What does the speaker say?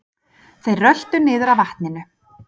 Þeir röltu niður að vatninu.